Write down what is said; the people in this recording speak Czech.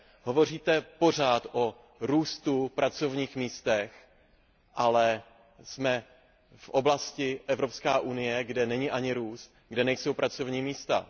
Hovoříte pořád o růstu, o pracovních místech, ale jsme v oblasti Evropská unie, kde není ani růst, kde nejsou pracovní místa.